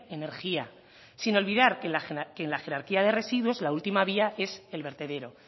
energía sin olvidar que en la jerarquía de residuos la última vía es el vertedero